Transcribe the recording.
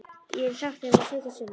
Ég hef sagt þér það sautján sinnum.